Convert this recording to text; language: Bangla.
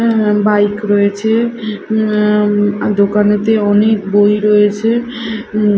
বাইক রয়েছে উম অ্যা দোকানেতে অনেক বই রয়েছে উম--